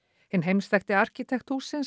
hinn heimsþekkti arkitekt hússins